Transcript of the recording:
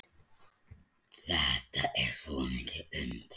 Þetta er svo mikið undur.